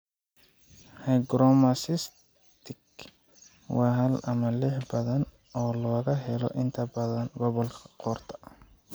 Hygromas cystic waa hal ama fiix badan oo laga helo inta badan gobolka qoorta.